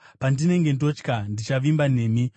Pandinenge ndotya, ndichavimba nemi.